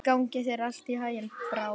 Gangi þér allt í haginn, Brá.